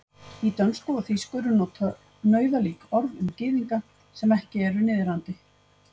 Í dönsku og þýsku eru notuð nauðalík orð um gyðinga sem ekki eru niðrandi.